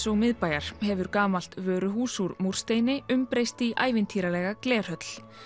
og miðbæjar hefur gamalt vöruhús úr múrsteini umbreyst í ævintýralega glerhöll